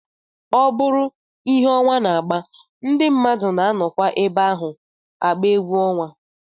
Ọ bụrụ ihe ọnwa na-agba, ndị mmadụ na-anọkwa ebe ahụ agba egwu ọnwa